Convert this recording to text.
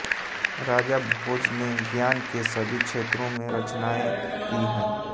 राजा भोज ने ज्ञान के सभी क्षेत्रों में रचनाएँ की हैं